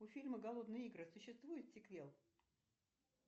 у фильма голодные игры существует сиквел